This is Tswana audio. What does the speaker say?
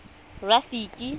rafiki